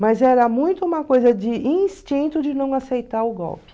Mas era muito uma coisa de instinto de não aceitar o golpe.